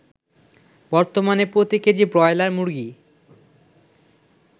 বর্তমানে প্রতি KG broiler মুরগী